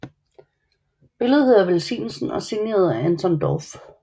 Billedet hedder Velsignelsen og er signeret af Anton Dorph